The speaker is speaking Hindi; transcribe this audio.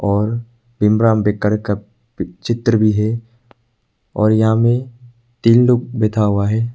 और भीमराव अंबेडकर का चित्र भी है और यहाँ मे तीन लोग बैठा हुआ है।